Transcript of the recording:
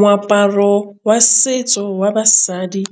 Moaparo wa setso wa basadi